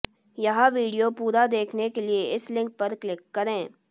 यह वीडिओ पूरा देखने के लिए इस लिंक पर क्लिक करें